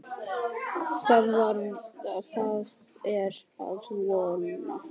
Það er að vora!